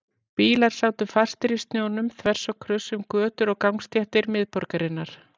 Bílar sátu fastir í snjónum þvers og kruss um götur og gangstéttir miðborgarinnar.